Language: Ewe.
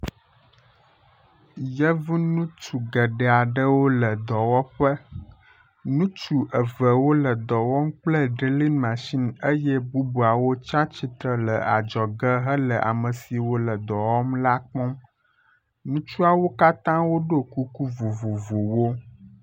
Yevunutsu geɖeaɖewo le dɔwɔƒe nutsu eve wóle dɔwɔm kple drilin machin eye bubuawo tsiatsitsre le adzɔge hele amesiwo le dɔwɔm la kpɔm ŋutsuawo katã woɖó kuku vovovowo